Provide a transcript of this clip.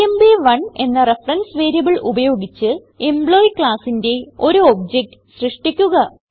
എംപ്1 എന്ന reference variable ഉപയോഗിച്ച് employee classന്റെ ഒരു ഒബ്ജക്ട് സൃഷ്ടിക്കുക